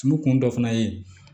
Tulu kun dɔ fana ye